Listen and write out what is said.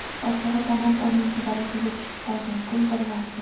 Ochig‘i, san’at o‘ninchi darajaga tushib qolgan, pul birlamchi.